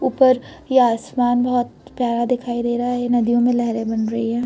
ऊपर ये आसमान बहोत प्यारा दिखाई दे रहा है। नदियों में लहरे बन रही हैं।